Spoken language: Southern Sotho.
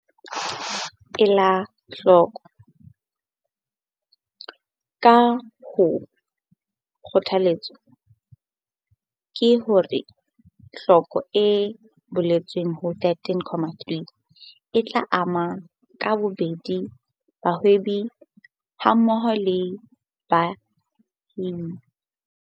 Ela hloko- Ka hoo, kgothaletso ke hore tlhoko e boletsweng ho 13.3 e tla ama ka bobedi bahwebi hammoho le balemi ba bahwebi ba batho ba batsho ba leng Phethahatsong.